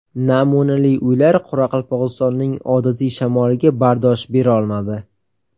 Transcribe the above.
Namunali uylar Qoraqalpog‘istonning odatiy shamoliga bardosh berolmadi.